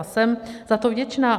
A jsem za to vděčná.